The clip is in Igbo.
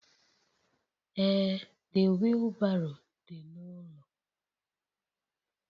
Ee The wheelbarrow dị n'ụlọ